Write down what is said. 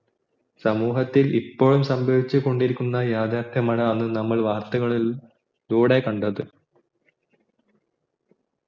സമൂഹത്തിൽ ഇപ്പോൾ സാംഭവിച്ചുകൊണ്ടിരിക്കുന്ന യാഥാർഥ്യമാണ് ആണ് നമ്മൾ വാർത്തകളിലൂടെ കണ്ടത്